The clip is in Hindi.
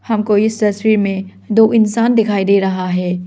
हमको इस तस्वीर में दो इंसान दिखाई दे रहा है।